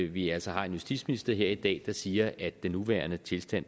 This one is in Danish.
vi altså har en justitsminister her i dag der siger at den nuværende tilstand